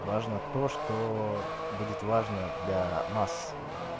важно то что будет важно для масс